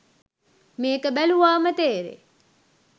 මේක බැලුවාම තේරෙයි..